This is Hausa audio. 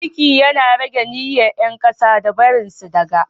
mulki Yana rage myryar yankasan da barinsu daga